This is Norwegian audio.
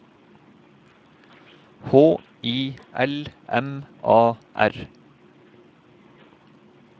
H I L M A R